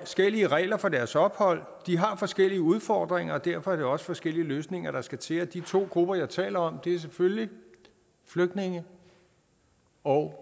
forskellige regler for deres ophold de har forskellige udfordringer og derfor er det også forskellige løsninger der skal til de to grupper jeg taler om er selvfølgelig flygtninge og